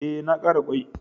E, na ƙara ƙwai.